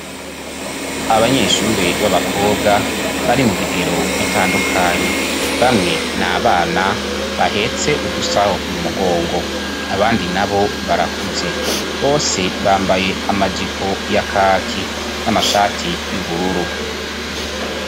Abanyeshuri b'abakobwa bari mu bigero bitandukanye bamwe na bana bahetse udusaho mu mugongo abandi na bo barakuze bose bambaye amajipo y'akaki n'amashati y'ubururu.